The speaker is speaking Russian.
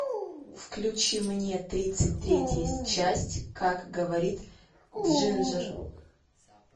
включи мне тридцать третья часть как говорит джинджер